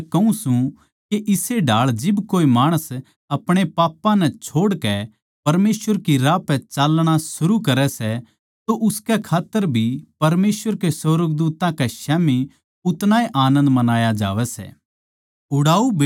मै थमनै कहूँ सूं के इस्से ढाळ जिब कोए माणस आपणे पापां नै छोड़कै परमेसवर की राह पै चाल्लणा शुरू करै सै तो उसके खात्तर भी परमेसवर के सुर्गदूत्तां कै स्याम्ही उतणा ए आनन्द मनाया जावै सै